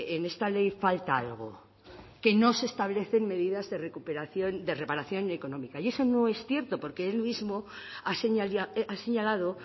en esta ley falta algo que no se establecen medidas de recuperación de reparación económica y eso no es cierto porque él mismo ha señalado